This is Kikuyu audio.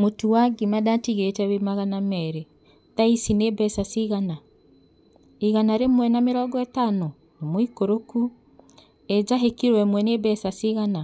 Mũtu wa ngima ndatigĩte wĩ magana merĩ, thaici nĩ mbeca cigana? Igana rĩmwe na mĩrongo ĩtano, nĩ mũikũrũku. Ĩ njahĩ kiro ĩmwe nĩ mbeca cigana?